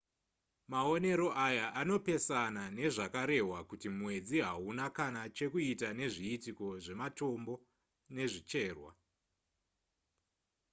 maonero aya anopesana nezvakarehwa kuti mwedzi hauna kana chekuita nezviitiko zvematombo nezvicherwa